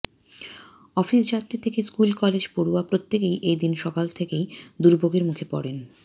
office যাত্রী থেকে school college পড়ুয়া প্রত্যেকেই এদিন সকাল থেকেই দুর্ভোগের মুখে পড়েন